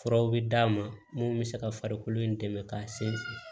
Furaw bɛ d'a ma mun bɛ se ka farikolo in dɛmɛ k'a sinsin